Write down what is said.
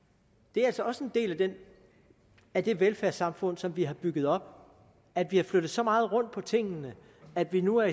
det er altså også en del af det velfærdssamfund som vi har bygget op at vi har flyttet så meget rundt på tingene at vi nu er